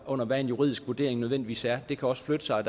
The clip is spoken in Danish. under hvad en juridisk vurdering nødvendigvis er det kan også flytte sig